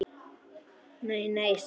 Nei, nei sagði hann.